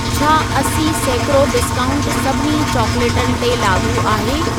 छा असी सैकिड़ो डिस्काउंटु सभिनी चॉकलेटनि ते लाॻू आहे।